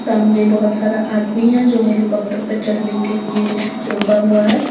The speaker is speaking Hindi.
सामने बहुत सारा आदमी है जो हेलीकॉप्टर पर चढ़ने के लिए रुका हुआ है।